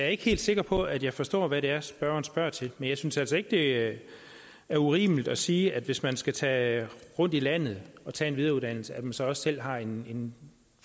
ikke helt sikker på at jeg forstår hvad det er spørgeren spørger til men jeg synes altså ikke at det er urimeligt at sige at man hvis man skal tage rundt i landet og tage en videreuddannelse så også selv har en